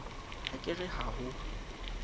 ha ke re ha ho